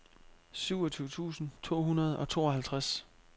syvogtyve tusind to hundrede og tooghalvtreds